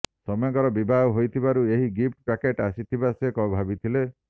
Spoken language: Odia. ସୌମ୍ୟଙ୍କର ବିବାହ ହୋଇଥିବାରୁ ଏହି ଗିଫ୍ଟ ପ୍ୟାକେଟ ଆସିଥିବା ସେ ଭାବିଥିଲେ